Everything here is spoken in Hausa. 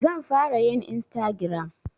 Zan fara yin Istagiram